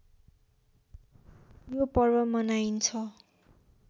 यो पर्व मनाइन्छ